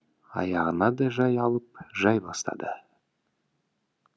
аяғын да жай алып жай басады